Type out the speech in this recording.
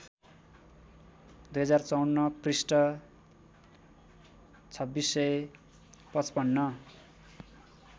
२०५४ पृष्ठ २६५५